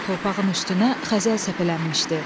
Torpağın üstünə xəzəl səpələnmişdi.